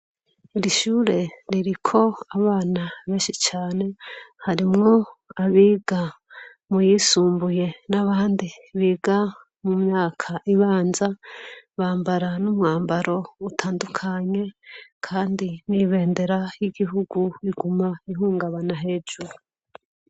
Iri shure ririko abana benshi cane, harimwo abiga muyisumbuye n’abandi biga mumyaka ibanza, bambara n’umwambaro utandukanye Kandi n’ibendera y’igihugu iguma ihungabana hejuru.